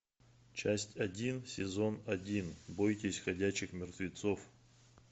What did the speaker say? часть один сезон один бойтесь ходячих мертвецов